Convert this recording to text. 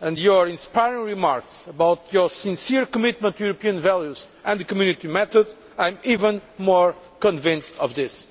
and to your inspiring remarks about your sincere commitment to European values and the Community method, I am even more convinced of this.